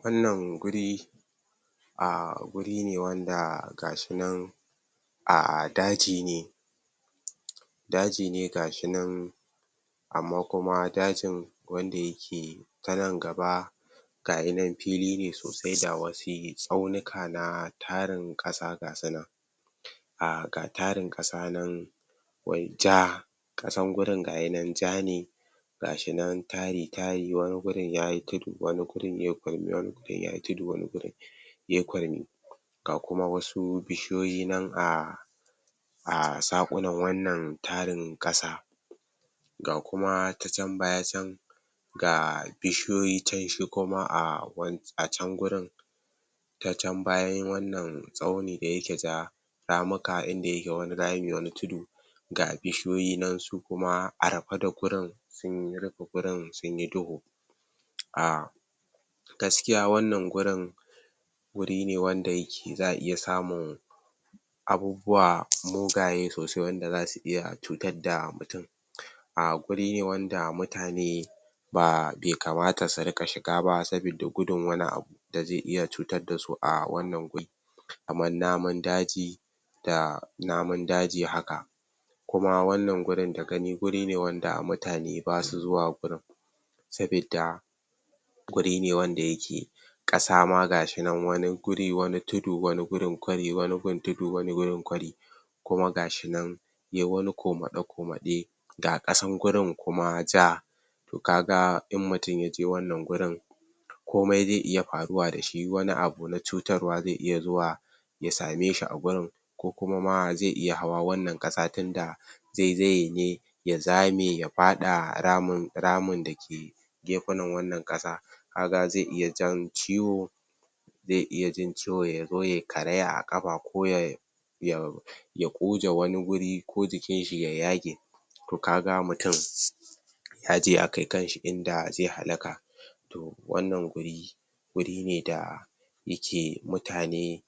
Wannan guri a guri ne wanda ga shi nan a daji ne, daji ne ga shi nan amma kuma dajin wanda yake ta nan gaba ga ya nan fili ne sosai da wasi tsaunika na tarin ƙasa gasu nan, a ga tarin ƙasa nan wai ja ƙasan gurin ga ya nan ja ne, ga shi nan tari tari wani gurin yayi tudu wani gurin yai kwari wani gurin yayi tudu wani gurin yai kwari, ga kuma wasu bishiyoyi nan a a saƙunan wannan tarin ƙasa, ga kuma ta can baya can ga bishiyoyi can shi kuma a wan.. can gurin ta can bayan wannan tsauni da yake ja ramuka inda yake wani rami wani tudu, ga bishoyi nan su kuma a rafe da wurin sun rufe gurin sunyi duhu, a gaskiya wannan gurin wuri ne wanda yake za'a iya samun abububuwa mugaye sosai wanda zasu iya cutadda mutin, a guri ne wanda mutane ba be kamata su riƙa shiga ba sabidda gudun wani abu da ze iya cutaddasu a wannan guri, kaman naman daji da naman daji haka, kuma wannan gurin da gani giri ne wanda mutane basu zuwa gurin, sabidda guri ne wanda yake ƙasa ma gashi nan wani guri wani tudu wani gurin kwari wani gun tudu wani gurin kwari kuma gashi nan yai wani komaɗe-komaɗe ga ƙasan gurin kuma ja, to kaga in mutin ya je wannan gurin komai zai iya faruwa da shi wani abu na cutarwa ze iya zuwa ya same shi a gurin, ko kuma ma ze iya hawa wannan ƙasa tinda zaizaye ne ya zame ya faɗa ramin ramin da ke gefenan wannan ƙasa kaga ze iya jan ciwo ze iya jin ciwo ya zo yai karaya a ƙafa ko ya ya ya ƙuje wani guri ko jikinshi ya yage, to kaga mutin yaje ya kai kanshi inda ze halaka, to wannan guri wuri ne da yake mutane